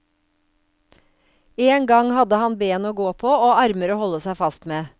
En gang hadde han ben å gå på og armer å holde seg fast med.